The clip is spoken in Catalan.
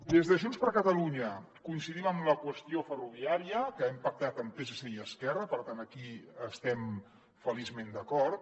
des de junts per catalunya coincidim amb la qüestió ferroviària que hem pactat amb psc i esquerra per tant aquí estem feliçment d’acord